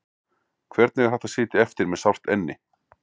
Hvernig er hægt að sitja eftir með sárt enni?